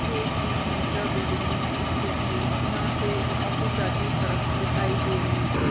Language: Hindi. ये एक तीन मंजिला बिल्डिंग मे स्तिथ है यहाँ से ऑफिस जाती सडक दिखाई दे रही है।